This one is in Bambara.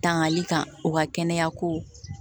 Tangali kan u ka kɛnɛya ko